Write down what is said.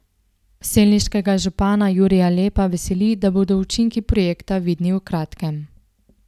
Selniškega župana Jurija Lepa veseli, da bodo učinki projekta vidni v kratkem.